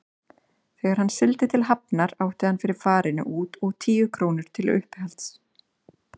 Þegar hann sigldi til Hafnar átti hann fyrir farinu út og tíu krónur til uppihalds.